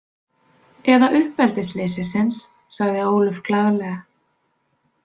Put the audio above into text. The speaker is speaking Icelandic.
Eða uppeldisleysisins, sagði Ólöf glaðlega.